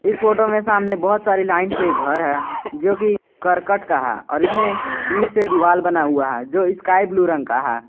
इस फोटो में सामने बहोत सारी लाइन से घर है जो कि करकट का है और इसमें ईंट से दीवार बना है जो कि स्काई ब्लू रंग का है।